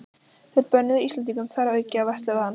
Þeir bönnuðu Íslendingum þar að auki að versla við hann.